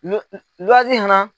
fana